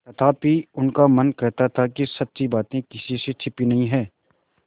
तथापि उनका मन कहता था कि सच्ची बात किसी से छिपी नहीं है